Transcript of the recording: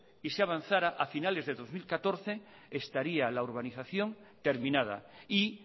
y se avanzara a finales de dos mil catorce estaría la urbanización terminada y